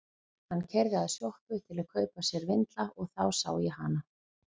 Hann keyrði að sjoppu til að kaupa sér vindla og þá sá ég hana.